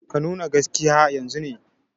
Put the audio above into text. Ka nuna gaskiya yanzun ne!